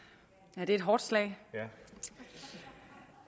det er et hårdt slag